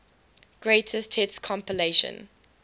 greatest hits compilation